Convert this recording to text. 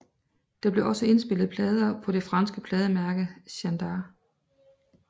Der blev også indspillet plader på det franske plademærke Shandar